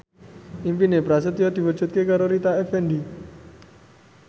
impine Prasetyo diwujudke karo Rita Effendy